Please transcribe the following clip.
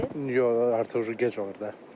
Yox, artıq gec olur da.